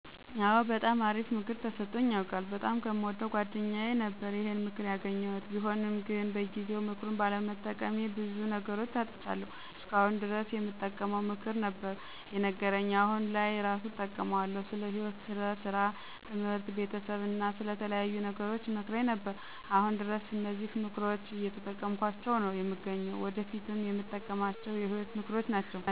አወ! በጣም አሪፍ ምክር ተሰጦኝ ያውቃል። በጣም ከየምወደው ጓደኛየ ነበረ ይሄን ምክር ያገኘሁት። ቢሆንም ግን በጊዜው ምክሩን ባለመጠቀሜ በዙ ነገሮች አጥቻለሁ። እስከ አሁን ድረስ የሚጠቅም ምክር ነበር የነገረኝ። አሁን ላይ እራሱ እጠቀማቸዋለሁ። ስለ ህይወት፣ ሰራ፣ ትምህርት፣ ቤተሰብ አና ስለተለያዩ ነገሮች ይመክረኝ ነበር። አሁን ድረስ እነዚህን ምክሮች እየተጠቀምኳቸው ነው የምገኘው። ወደፊትም የምጠቀማቸው የህይወት ምክሮች ናቸው።